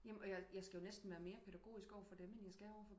Jamen men jeg skal jo næsten være mere pædagogisk over for dem end jeg skal overfor